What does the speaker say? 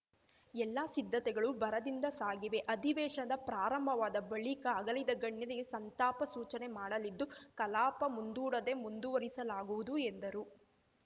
ಎಲ್ಲಾ ಸಿದ್ಧತೆಗಳು ಭರದಿಂದ ಸಾಗಿವೆ ಅಧಿವೇಶನ ಪ್ರಾರಂಭವಾದ ಬಳಿಕ ಅಗಲಿದ ಗಣ್ಯರಿಗೆ ಸಂತಾಪ ಸೂಚನೆ ಮಾಡಲಿದ್ದು ಕಲಾಪ ಮುಂದೂಡದೆ ಮುಂದುವರಿಸಲಾಗುವುದು ಎಂದರು